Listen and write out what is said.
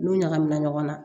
N'u ɲagamina ɲɔgɔn na